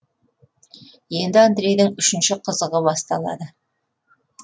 енді андрейдің үшінші қызығы басталады